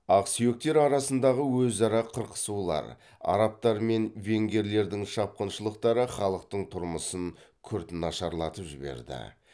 ақсүйектер арасындағы өзара қырқысулар арабтар мен венгрлердің шапқыншылықтары халықтың тұрмысын күрт нашарлатып жіберді